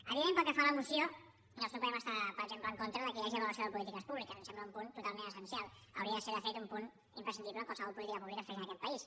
evident pel que fa a la moció doncs no podem estar per exemple en contra que hi hagi avaluació de polítiques públiques em sembla un punt totalment essencial hauria de ser de fet un punt imprescindible en qualsevol política pública que es fes en aquest país